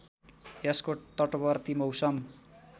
यसको तटवर्ती मौसम